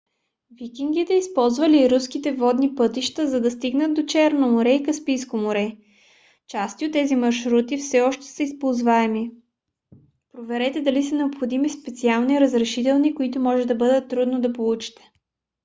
викингите използвали руските водни пътища за да стигнат до черно море и каспийско море. части от тези маршрути все още са използваеми. проверете дали са необходими специални разрешителни които може да бъде трудно да получите